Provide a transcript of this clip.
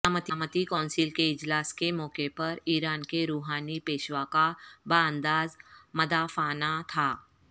سلامتی کونسل کے اجلاس کے موقع پر ایران کے روحانی پیشوا کا بانداز مدافعانہ تھا